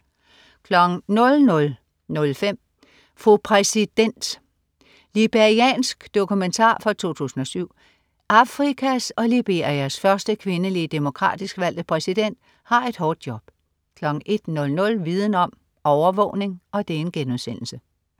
00.05 Fru præsident. Liberiansk dokumentar fra 2007. Afrikas og Liberias første kvindelige demokratisk valgte præsident har et hårdt job 01.00 Viden om: Overvågning*